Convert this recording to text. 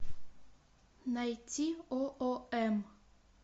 найти оом